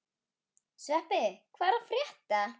Sveppi, hvað er að frétta?